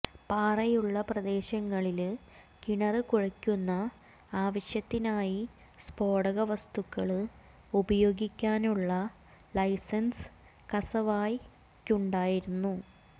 പാറയുള്ള പ്രദേശങ്ങളില് കിണര് കുഴിക്കുന്ന ആവശ്യത്തിനായി സ്ഫോടക വസ്തുക്കള് ഉപയോഗിക്കാനുള്ള ലൈസന്സ് കസാവയ്ക്കുണ്ടായിരുന്നു